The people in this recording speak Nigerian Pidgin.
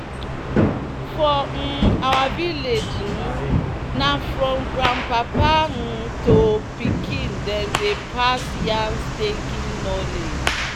"for um our village um na from grandpapa um to pikin dem dey pass yam staking knowledge."